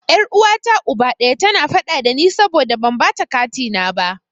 Yar uwata Uba ɗaya, tana faɗa dani saboda ban bata katina na ba.